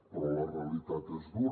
però la realitat és dura